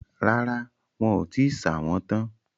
Rárá, wọn ò tíì ṣà wọ́n tán